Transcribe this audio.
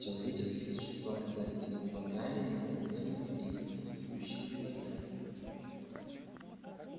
человеческие существа казались ему богами несомненными и вездесущими богами